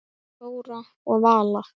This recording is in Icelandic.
Og Þóra og Vala?